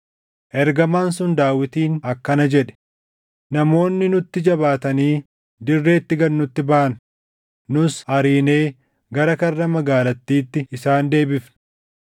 Ergamaan sun Daawitiin akkana jedhe; “Namoonni nutti jabaatanii dirreetti gad nutti baʼan; nus ariinee gara karra magaalattiitti isaan deebifne.